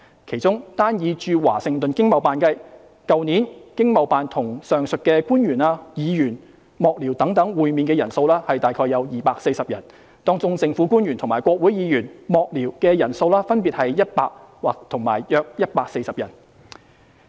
其中，單以駐華盛頓經貿辦計，去年經貿辦與上述官員/議員/幕僚等會面的人數約240人，當中政府官員及國會議員/幕僚的人數分別約100人和約140人。